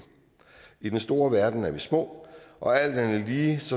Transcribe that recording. i den store verden er vi små og alt andet lige